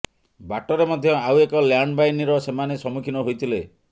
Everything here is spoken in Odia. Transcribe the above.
ବାଟରେ ମଧ୍ୟ ଆଉ ଏକ ଲ୍ୟାଣ୍ଡ ମାଇନର ସେମାନେ ସମ୍ମଖୀନ ହେଇଥିଲେ